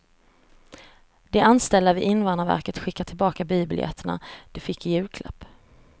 De anställda vid invandrarverket skickar tillbaka biobiljetterna de fick i julklapp.